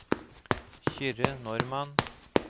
Kyrre Normann